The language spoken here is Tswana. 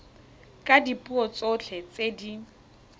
ka dipuo tsotlhe tse di